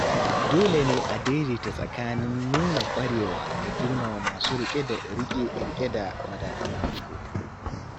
Dole ne a daidaita tsakanin nuna ƙwarewa da girmama masu rike da madafun iko.